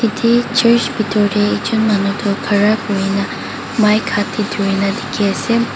yadae church bitor dae ekjun manu toh Khara kurikina mic haat dae turikina diki asae.